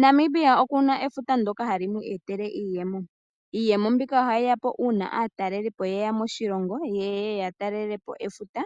Namibia okuna efuta ndyoka hali mu etele iiyemo . Iiyemo mbika ohayi yapo uuna aatalelipo yeya moshilongo yeye yataalelepo efuta